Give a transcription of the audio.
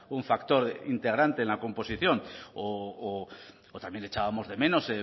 un factor integrante en la composición o también echábamos de menos